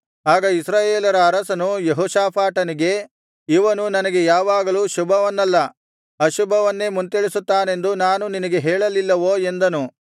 ಆಗ ಇಸ್ರಾಯೇಲರ ಅರಸನು ಯೆಹೋಷಾಫಾಟನಿಗೆ ಇವನು ನನಗೆ ಯಾವಾಗಲೂ ಶುಭವನ್ನಲ್ಲ ಅಶುಭವನ್ನೇ ಮುಂತಿಳಿಸುತ್ತಾನೆಂದು ನಾನು ನಿನಗೆ ಹೇಳಲಿಲ್ಲವೋ ಎಂದನು